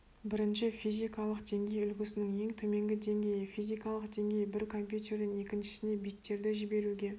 бірінші физикалық деңгей үлгісінің ең төменгі деңгейі физикалық деңгей бір компьютерден екіншісіне биттерді жіберуге